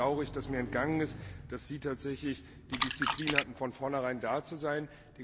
Insofern bedaure ich, dass mir entgangen ist, dass Sie tatsächlich die Disziplin hatten, von vornherein da zu sein.